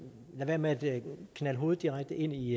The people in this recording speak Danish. være med at knalde hovedet direkte ind i